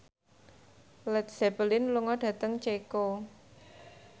Led Zeppelin lunga dhateng Ceko